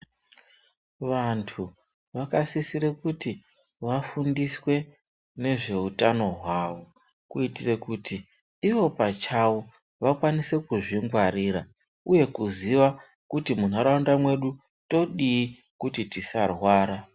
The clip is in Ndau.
Vantu vakasisire kuti vafundiswe nezveutano hwavo kuitire kuti Ivo pachavo vakwanise kuzvingwarira uye kuziva kuti munharaunda medu todiii kuti tisarwara.